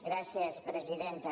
gràcies presidenta